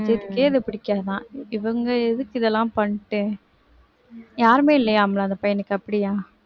அஜித்துக்கே புடிக்காதுதான் இவங்க எதுக்கு இதெல்லாம் பண்ணிட்டு யாருமே இல்லையாம்ல அந்த பையனுக்கு அப்படியா